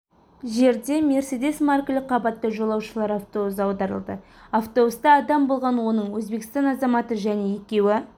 жерде мерседес маркілі қабатты жолаушылар автобусы аударылды автобуста адам болған оның өзбекстан азаматы және екеуі